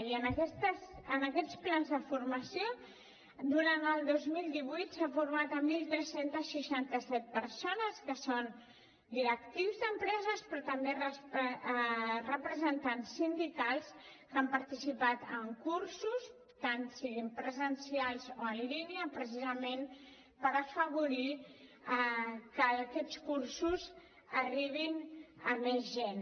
i amb aquests plans de formació durant el dos mil divuit s’han format tretze seixanta vuit persones que són directius d’empreses però també representants sindicals que han participat en cursos tant siguin presencials o en línia precisament per afavorir que aquests cursos arribin a més gent